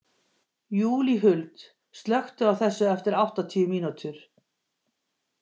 Júlíhuld, slökktu á þessu eftir áttatíu mínútur.